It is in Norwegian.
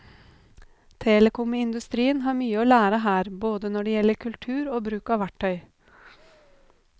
Telekomindustrien har mye å lære her både når det gjelder kultur og bruk av verktøy.